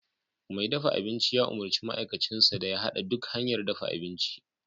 Mai dafa abinci ya umurci ma'aikacinsa da ya hada duk hanyar dafa abinci